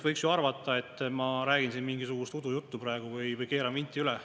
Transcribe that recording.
Võiks ju arvata, et ma räägin siin mingisugust udujuttu praegu või keeran vinti üle.